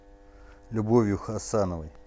любовью хасановной